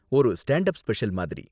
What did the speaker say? ஒரு stand up special மாதிரி.